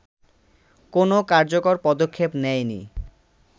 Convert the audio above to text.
কোনো কার্যকর পদক্ষেপ নেয়নি